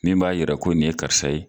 Min b'a yira ko nin ye karisa ye.